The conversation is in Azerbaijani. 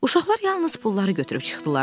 Uşaqlar yalnız pulları götürüb çıxdılar.